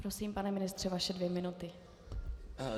Prosím, pane ministře, vaše dvě minuty.